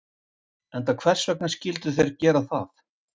Enda hvers vegna skyldu þeir gera það?